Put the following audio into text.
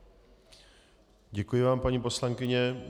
Děkuji vám, paní poslankyně.